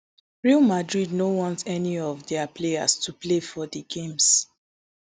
real madrid no want any of dia players to play for di games